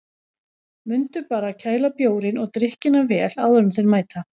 Mundu bara að kæla bjórinn og drykkina vel áður en þeir mæta.